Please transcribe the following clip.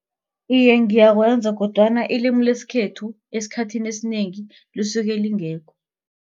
Iye, ngiyakwenza kodwana ilimi lesikhethu esikhathini esinengi lisuke lingekho.